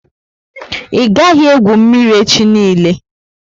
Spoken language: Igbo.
I gaghi egwu mmírí echi niile!